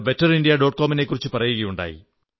com നെക്കുറിച്ചു പറയുകയുണ്ടായി